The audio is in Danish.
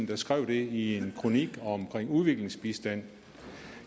der skrev det i en kronik om udviklingsbistand